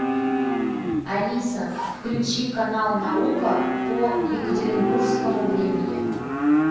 алиса включи канал наука по екатеринбургскому времени